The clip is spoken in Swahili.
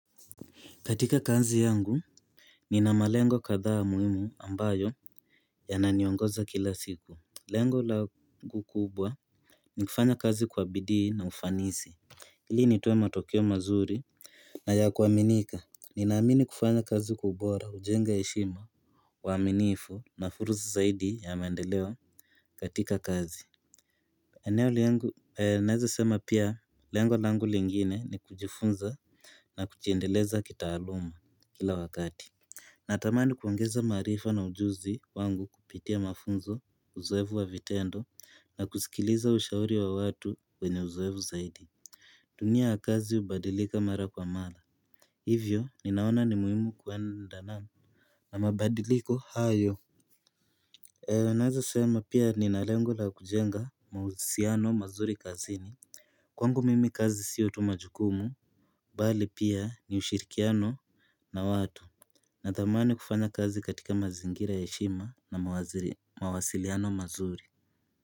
Katika kazi yangu, nina malengo kadhaa muhimu ambayo yananiongoza kila siku. Lengo langu kubwa ni kufanya kazi kwa bidii na ufanisi. Ili nitoe matokeo mazuri na ya kuaminika ninaamini kufanya kazi kwa ubora, hujenga heshima uaminifu na fursa zaidi ya maendeleo katika kazi naweza sema lengo langu lingine ni kujifunza na kujiendeleza kitaaluma kila wakati natamani kuongeza maarifa na ujuzi wangu kupitia mafunzo, uzoefu wa vitendo na kusikiliza ushauri wa watu wenye uzoefu zaidi. Dunia ya kazi hubadilika mara kwa mara hivyo ninaona ni muhimu kwendana mabadiliko hayo. Naweza sema pia nina lengo la kujenga mahusiano mazuri kazini. Kwangu mimi kazi sio tu majukumu bali pia ni ushirikiano na watu natamani kufanya kazi katika mazingira ya heshima na mawasiliano mazuri.